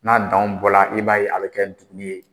N'a danw bɔ la i b'a ye a bɛ kɛ dugu ye.